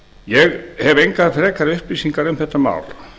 ég hef engar frekari upplýsingar um þetta mál